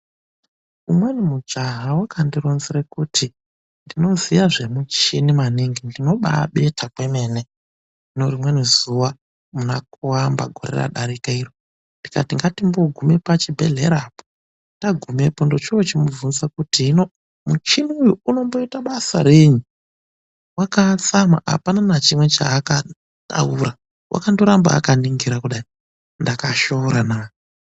Umweni mujaha wakandironzera kuti ndinoziva zvemichhini maningi ndino baabetha kwemene. Hino rimweni zuwa muna kuamba wegore radarika iro, ndikati ngatimboguma pachibhedhlera apo. Tagumepo ndochoo chimubvunza kuti hino muchhini uwo unomboita basa rei? Wakatsamwa apana nachimwe chaakataura. Wakandoramba akaningira kudai, ndakashoora na.